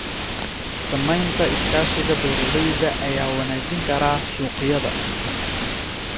Samaynta iskaashiga beeralayda ayaa wanaajin kara suuqyada.